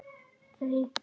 Þau eiga sjö börn.